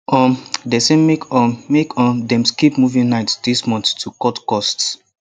um dem say make um make um dem skip movie night this month to cut cost